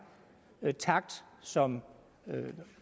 takt som